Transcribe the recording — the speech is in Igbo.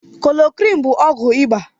Klorokwinin bụ ọgwụ iba